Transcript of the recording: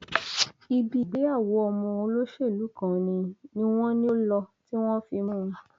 ibi ìgbéyàwó ọmọ olóṣèlú kan ni ni wọn ní ó lọ tí wọn fi mú un